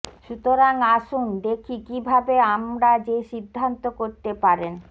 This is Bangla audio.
সুতরাং আসুন দেখি কিভাবে আমরা যে সিদ্ধান্ত করতে পারেন